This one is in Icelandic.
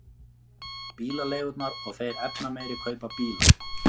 Bílaleigurnar og þeir efnameiri kaupa bíla